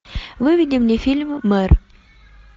выведи мне фильм мэр